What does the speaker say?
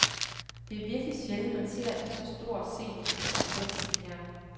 Det er virkelig sjældent, man ser en så stor scenisk konsekvens som her.